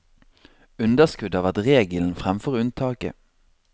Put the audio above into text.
Underskudd har vært regelen fremfor unntaket.